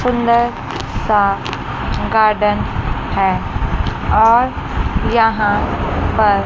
सुंदर सा गार्डन है और यहां पर--